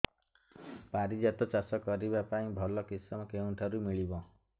ପାରିଜାତ ଚାଷ କରିବା ପାଇଁ ଭଲ କିଶମ କେଉଁଠାରୁ ମିଳିବ